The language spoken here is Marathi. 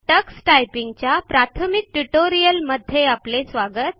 टक्स टायपिंग च्या प्राथमिक ट्यूटोरियल मध्ये आपले स्वागत